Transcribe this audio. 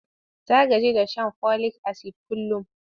Ta gaji da shan folik-asid kullum.